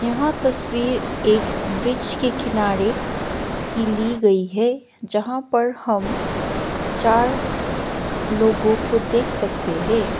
यहां तस्वीर एक ब्रिज के किनारे की ली गई है जहां पर हम चार लोगों को देख सकते है।